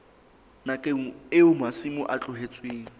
nakong eo masimo a tlohetsweng